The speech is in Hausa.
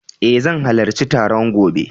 Eh zan halarci taron gobe.